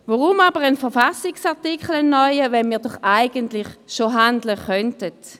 Wozu aber ein neuer Verfassungsartikel, wenn wir doch schon jetzt handeln könnten?